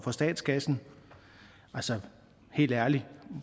for statskassen altså helt ærligt